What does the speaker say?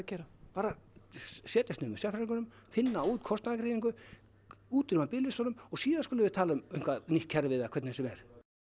gera bara setjast niður með sérfræðingunum finna út kostnaðargreiningu útrýma biðlistunum og síðan skulum við tala um nýtt kerfi eða hvernig sem er